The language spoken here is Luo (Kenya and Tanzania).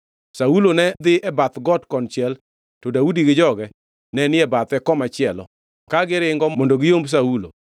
jaote nobiro ir Saulo, mowacho niya, “Bi piyo! Jo-Filistia osebiro monjo piny.”